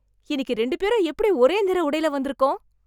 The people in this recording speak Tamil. இன்னிக்கு ரெண்டு பேரும் எப்படி ஒரே நிற உடைல வந்துருக்கோம்!